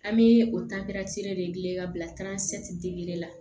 An bɛ o de gilan ka bila la